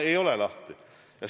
Ei ole lahti!